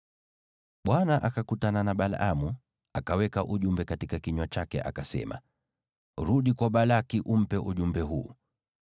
Bwana akakutana na Balaamu, akaweka ujumbe katika kinywa chake akasema, “Rudi kwa Balaki umpe ujumbe huu.”